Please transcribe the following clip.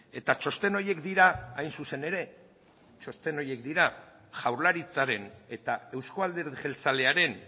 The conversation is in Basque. eta txosten horiek dira hain zuzen ere txosten horiek dira jaurlaritzaren eta euzko alderdi jeltzalearen